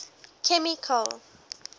chemical